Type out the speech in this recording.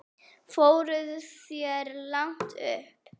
Fóruð þér langt upp?